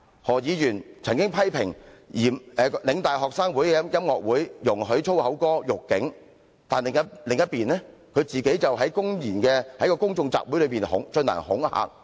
何議員曾經批評香港嶺南大學學生會的音樂會容許以粗言歌辱警，但那邊廂，他自己卻公然在公眾集會上進行恐嚇。